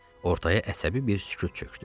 Ortaya əsəbi bir sükut çökdü.